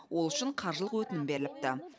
ол үшін қаржылық өтінім беріліпті